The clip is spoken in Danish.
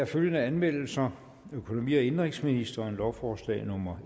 følgende anmeldelser økonomi og indenrigsministeren lovforslag nummer